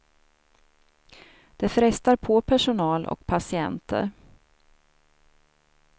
Det frestar på personal och patienter.